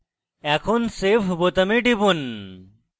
এখন save বোতামে টিপুন